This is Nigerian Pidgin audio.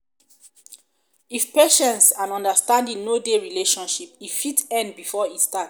if patience and understanding no dey relationship e fit end before e start